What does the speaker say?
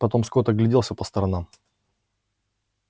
потом скотт огляделся по сторонам